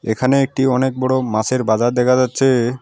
এখানে একটি অনেক বড়ো মাসের বাজার দেখা যাচ্ছে।